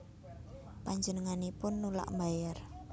Panjenenganipun nulak mbayar